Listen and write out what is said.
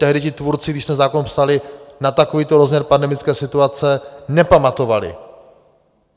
Tehdy ti tvůrci, když ten zákon psali, na takovýto rozměr pandemické situace nepamatovali.